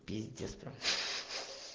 пиздец